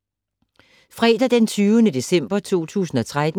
Fredag d. 20. december 2013